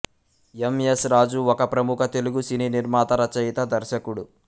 ఎం S Raju ఒక ప్రముఖ తెలుగు సినీ నిర్మాత రచయిత దర్శకుడు